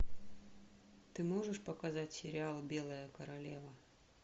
ты можешь показать сериал белая королева